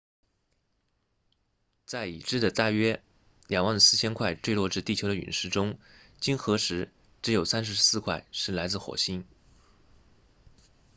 在已知的大约 24,000 块坠落至地球的陨石中经核实只有34块是来自火星